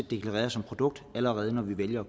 deklareret som produkt allerede når vi vælger